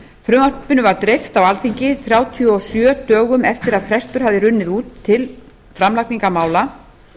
frumvarpinu var dreift á alþingi þrjátíu og sjö dögum eftir að frestur hafði runnið út til framlagningar mála